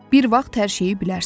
Bir vaxt hər şeyi bilərsən.